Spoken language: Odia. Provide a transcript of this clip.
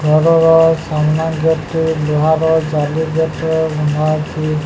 ଘରର ସାମ୍ନା ଗେଟ୍ ଟେ ଲୁହାର ଜାଲି ଗେଟ୍ ଟେ ଲଗା ଅଛି।